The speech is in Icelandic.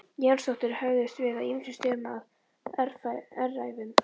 Jónsdóttir höfðust við á ýmsum stöðum á öræfum